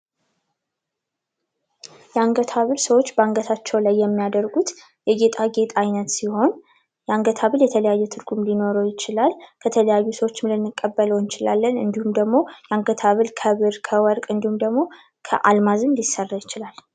የአንገት ሀብል ሰዎች በአንገታቸው ላይ የሚያደርጉት የጌጣጌጥ አይነት ሲሆን የአንገት ሀብል የተለያየ ትርጉም ሊኖረው ይችላል። ከተለያዩ ሰዎችም ልንቀበለው እንችላለን እንድሁም ደግሞ የአንገት ሀብል ከብር ከወርቅ እንድሁም ደግሞ ከአልማዝም ሊሰራ ይችላል።